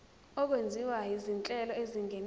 okwenziwa izinhlelo ezingenisa